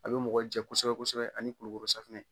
A bi mɔgɔ jɛ kosɛbɛ kosɛbɛ ani kulukoro safunɛ.